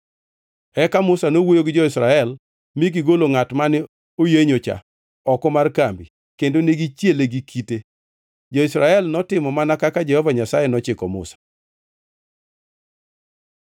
Eka Musa nowuoyo gi jo-Israel mi gigolo ngʼat mane oyenyocha oko mar kambi kendo negichiele gi kite. Jo-Israel notimo mana kaka Jehova Nyasaye nochiko Musa.